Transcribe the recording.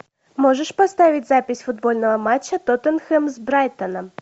можешь поставить запись футбольного матча тоттенхэм с брайтоном